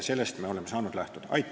Sellest me saamegi lähtuda.